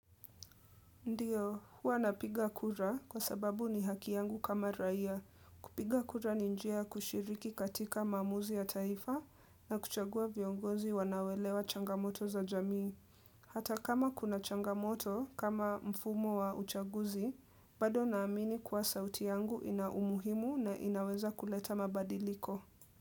Ndiyo, huwa napiga kura kwa sababu ni haki yangu kama raia. Kupiga kura ni njia kushiriki katika maamuzi ya taifa na kuchagua viongozi wanao elewa changamoto za jamii. Hata kama kuna changamoto kama mfumo wa uchaguzi, bado naamini kuwa sauti yangu ina umuhimu na inaweza kuleta mabadiliko.